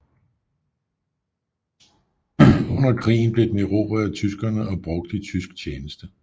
Under krigen blev den erobret af tyskerne og brugt i tysk tjeneste